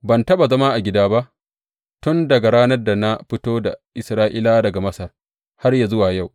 Ban taɓa zama a gida ba tun daga ranar da na fito da Isra’ilawa daga Masar har yă zuwa yau.